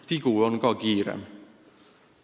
Tigu on ka kiirem.